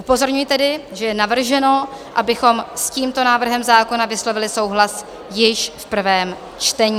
Upozorňuji tedy, že je navrženo, abychom s tímto návrhem zákona vyslovili souhlas již v prvém čtení.